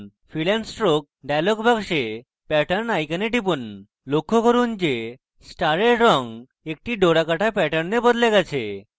fill and stroke dialog box pattern icon টিপুন লক্ষ্য করুন যে star রঙ একটি ডোরাকাটা pattern বদলে গেছে